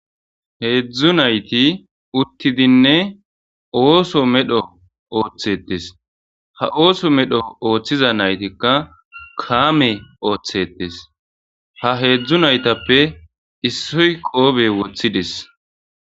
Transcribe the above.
Heedzdzu nayti uttidinne ooso medho ooththetes ha ooso medho ooththiza naytikka kaame ooththetes ha heedzdzu naytappe issoy qoobey woththides.